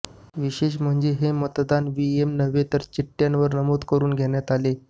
विशेष म्हणजे हे मतदान इव्हीएम नव्हेतर चिठ्ठय़ांवर नमूद करून घेण्यात आले